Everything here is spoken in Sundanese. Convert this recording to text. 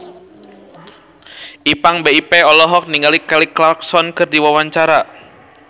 Ipank BIP olohok ningali Kelly Clarkson keur diwawancara